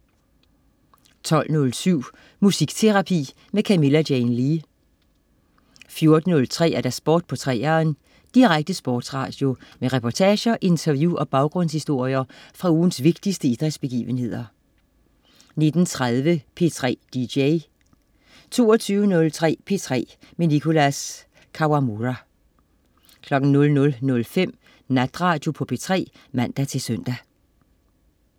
12.07 Musikterapi med Camilla Jane Lea 14.03 Sport på 3'eren. Direkte sportsradio med reportager, interview og baggrundshistorier fra ugens vigtigste idrætsbegivenheder 19.30 P3 DJ 22.03 P3 med Nicholas Kawamura 00.05 Natradio på P3 (man-søn)